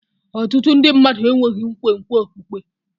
Ọtụtụ ndị mmadụ enweghị nkwenkwe okpukpe.